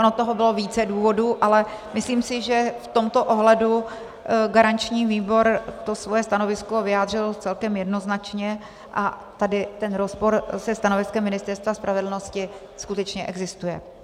Ono toho bylo více důvodů, ale myslím si, že v tomto ohledu garanční výbor to svoje stanovisko vyjádřil celkem jednoznačně a tady ten rozpor se stanoviskem Ministerstva spravedlnosti skutečně existuje.